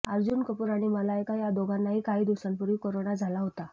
अर्जुन कपूर आणि मलायका या दोघांनाही काही दिवसांपूर्वी कोरोना झाला होता